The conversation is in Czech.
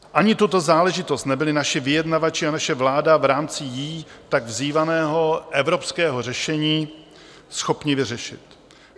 Ani tuto záležitost nebyli naši vyjednavači a naše vláda v rámci jí tak vzývaného evropského řešení schopni vyřešit.